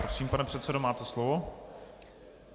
Prosím, pane předsedo, máte slovo.